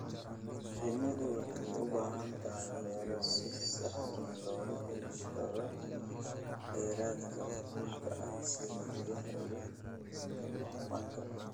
Shinnidu waxay u baahan tahay meelo si sahlan looga heli karo kheyraadka muhiimka ah sida biyaha iyo manka.